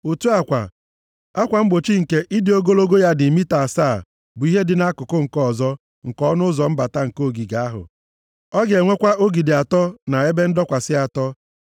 Otu a kwa, akwa mgbochi nke ịdị ogologo ya dị mita asaa bụ ihe dị nʼakụkụ nke ọzọ nke ọnụ ụzọ mbata nke ogige ahụ. Ọ ga-enwekwa ogidi atọ na ebe ndọkwasị atọ